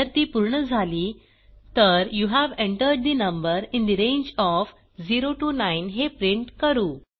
जर ती पूर्ण झाली तर you have entered the number in the range of 0 9 हे प्रिंट करू